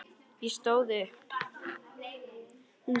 Ég stóð upp.